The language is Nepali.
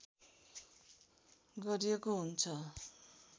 गरिएको हुन्छ